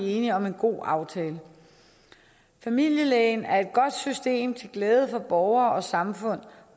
enige om en god aftale familielægen er et godt system til glæde for borgere og samfund